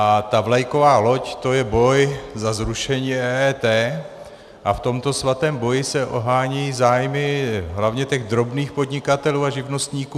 A ta vlajková loď, to je boj za zrušení EET a v tomto svatém boji se ohánějí zájmy hlavně těch drobných podnikatelů a živnostníků.